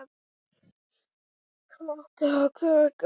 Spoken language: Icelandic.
Hildur, hvaða mánaðardagur er í dag?